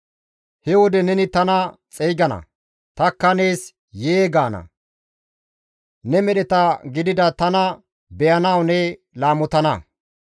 He wode neni tana xeygana; tanikka nees ‹Yee› gaana; ne medheta gidida tana beyanaas ne laamotana.